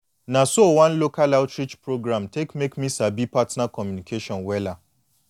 na so one local outreach program take make me sabi partner communication wella